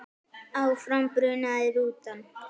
Áfram brunaði rútan.